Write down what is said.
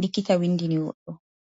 likkita windini goɗɗo.